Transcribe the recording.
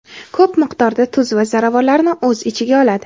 ko‘p miqdorda tuz va ziravorlarni o‘z ichiga oladi.